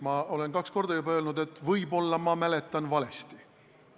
Ma olen juba kaks korda öelnud, et võib-olla ma mäletan valesti.